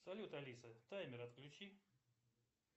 салют алиса таймер отключи